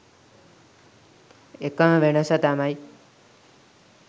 එකම වෙනස තමයි